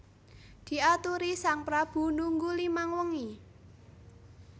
Diaturi sang prabu nunggu limang wengi